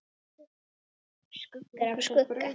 Skuggar af skugga.